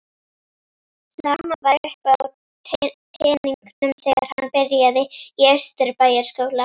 Sama var uppi á teningnum þegar hann byrjaði í Austurbæjarskóla.